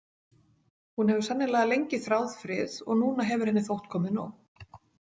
Hún hefur sennilega lengi þráð frið og núna hefur henni þótt komið nóg.